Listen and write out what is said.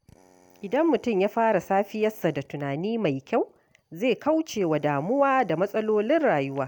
Idan mutum ya fara safiyarsa da tunani mai kyau, zai kauce wa damuwa da matsalolin rayuwa.